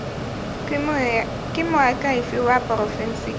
ke moakhaefe wa porofense ke